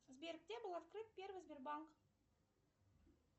сбер где был открыт первый сбербанк